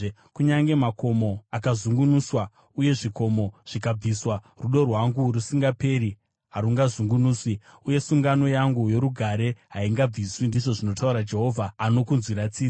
Kunyange makomo akazungunuswa, uye zvikomo zvikabviswa, rudo rwangu rusingaperi harungazungunuswi, uye sungano yangu yorugare haingabviswi,” ndizvo zvinotaura Jehovha anokunzwira tsitsi.